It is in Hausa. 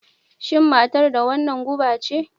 Shin matar da wannan guba ce?